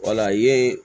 Wala ye